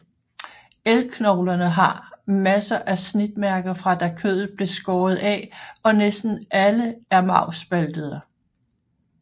Elgknoglerne har masser af snitmærker fra da kødet blev skåret af og næsten alle er marvspaltede